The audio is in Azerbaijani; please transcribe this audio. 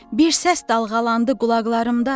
Bir səs dalğalandı qulaqlarımda.